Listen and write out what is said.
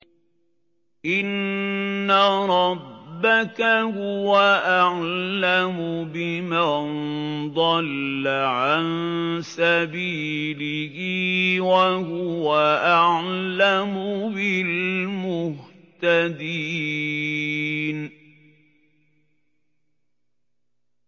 إِنَّ رَبَّكَ هُوَ أَعْلَمُ بِمَن ضَلَّ عَن سَبِيلِهِ وَهُوَ أَعْلَمُ بِالْمُهْتَدِينَ